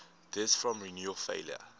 deaths from renal failure